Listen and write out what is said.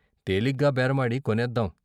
తేలిగ్గా బేరమాడి కొనేద్దాం.